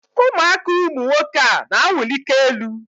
ụmụaka ụmụ nwoke a na-awụlika elu.